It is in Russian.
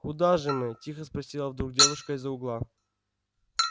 куда же мы тихо спросила вдруг девушка из-за угла